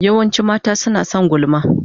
Yawancin mata suna son gulma.